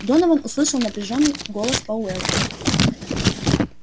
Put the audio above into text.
донован услышал напряжённый голос пауэлла